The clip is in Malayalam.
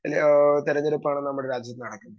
സ്പീക്കർ 2 ആഹ് തെരഞ്ഞെടുപ്പാണ് നമ്മുടെ രാജ്യത്ത് നടക്കുന്നത്.